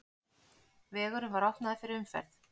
Vegurinn var opnaður fyrir umferð.